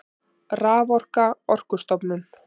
Raforka Orkustofnun.